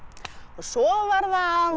og svo verða